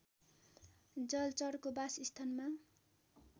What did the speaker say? जलचरको बासस्थानमा